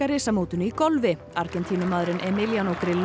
risamótinu í golfi Argentínumaðurinn Emiliano